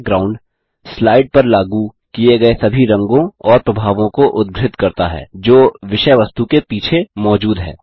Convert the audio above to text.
background slide पर लागू किये गये सभी रंगों और प्रभावों को उद्घृत करता है जो विषय वस्तु के पीछे मौजूद हैं